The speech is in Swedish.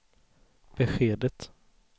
beskedet